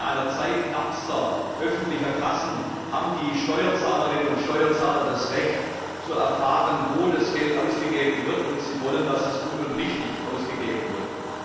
Denn in einer Zeit knappster öffentlicher Kassen haben die Steuerzahlerinnen und Steuerzahler das Recht, zu erfahren, wo das Geld ausgegeben wird, und sie wollen, dass es gut und richtig ausgegeben wird.